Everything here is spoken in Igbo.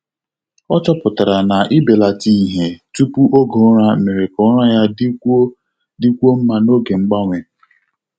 Ọ chọpụtara na ịbelata ìhè tupu oge ụra mere ka ụra ya dịkwuo dịkwuo mma n'oge mgbanwe.